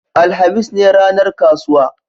alhamis ne ranar kasuwa